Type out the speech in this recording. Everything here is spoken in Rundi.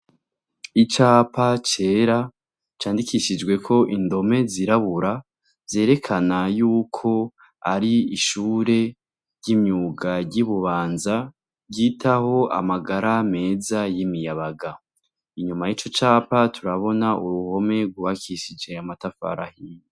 Icapa cera, candikishijweho indome izirabura, zerekana yukwo ari ishure ry' imyuga ry' i Bubanza, ryitaho amagara meza y' imiyabaga. Inyuma y' ico capa turabona uruhome rw' ubakishije amatafari ahiye.